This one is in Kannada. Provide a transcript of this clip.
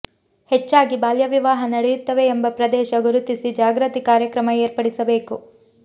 ಹೆಚ್ಚಾಗಿ ಬಾಲ್ಯವಿವಾಹ ನಡೆಯುತ್ತವೆ ಎಂಬ ಪ್ರದೇಶ ಗುರುತಿಸಿ ಜಾಗೃತಿ ಕಾರ್ಯಕ್ರಮ ಏರ್ಪಡಿಸಬೇಕು